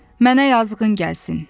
Mənə yazığın gəlsin.